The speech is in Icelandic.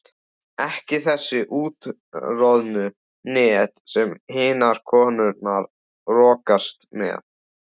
Ekki þessi úttroðnu net sem hinar konurnar rogast með.